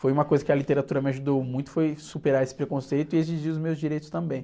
Foi uma coisa que a literatura me ajudou muito, foi superar esse preconceito e exigir os meus direitos também.